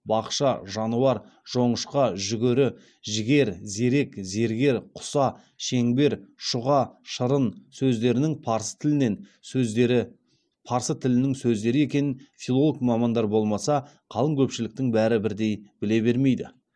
бақша жануар жоңышқа жүгері жігер зерек зергер құса шеңбер шұға шырын сөздерінің парсы тілінен сөздері парсы тілінің сөздері екенін филолог мамандар болмаса қалың көпшіліктің бәрі бірдей біле бермейді